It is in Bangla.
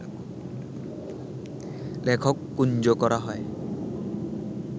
লেখক কুঞ্জ করা হয়